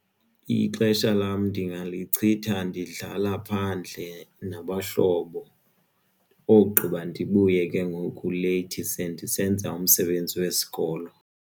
Ixesha lam ndingalicinga ndidlala phandle nabahlobo ogqiba ndibuye ke ngoku leyithi sendisenza umsebenzi wesikolo.